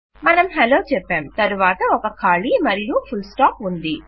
మనం హలో చెప్పాం తరువాత ఒక ఖాళీ మరియు ఫుల్స్టాప్ ఉంది